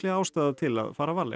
ástæða til að fara varlega